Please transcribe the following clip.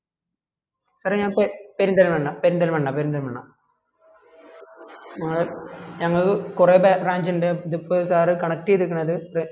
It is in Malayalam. sir എ ഞ പെ പെരുന്തൽമണ്ണ പെരുന്തൽമണ്ണ പെരുന്തൽമണ്ണ ഞങ്ങള് ഞങ്ങള് കൊറേ ബ്ര branch ണ്ട് ഇത് ഇപ്പം sirconnect ചെയ്തിക്കണത്